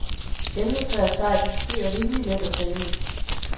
Elmetræ er sejt, mens bøg er rimeligt let at save i.